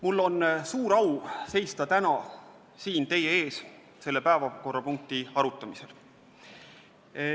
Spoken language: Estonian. Mul on suur au seista täna siin teie ees selle päevakorrapunkti arutamisel.